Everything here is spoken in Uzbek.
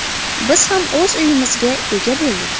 Biz ham o‘z uyimizga ega bo‘ldik.